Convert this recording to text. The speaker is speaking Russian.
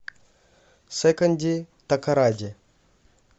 секонди такоради